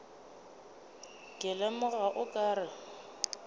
ke lemoga o ka re